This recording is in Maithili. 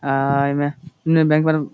अ इ में --